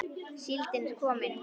Síldin er komin!